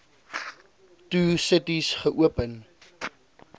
two cities geopen